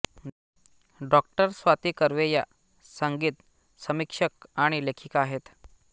डॉ स्वाती कर्वे या संगीतसमीक्षक आणि लेखिका आहेत